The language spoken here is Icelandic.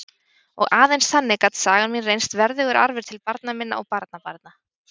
Og aðeins þannig gat sagan mín reynst verðugur arfur til barna minna og barnabarna.